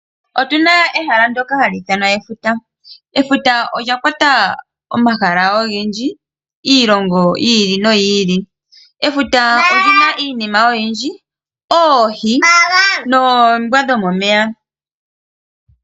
Otuna ehala ndoka hali ithanwa efuta. Efuta olya kwata omahala ogendji, iilongo yi ili noyi ili. Efuta oli na iinima oyindji, oohi noombwa dhomomeya.